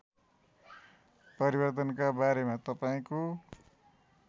परिवर्तनका बारेमा तपाईँको